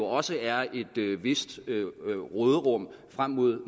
også er et vist råderum frem mod